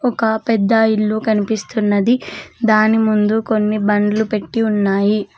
ఒక పెద్ద ఇల్లు కనిపిస్తున్నది దాని ముందు కొన్ని బండ్లు పెట్టి ఉన్నాయి.